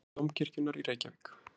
Vefur Dómkirkjunnar í Reykjavík.